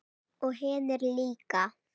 Og hinir líka.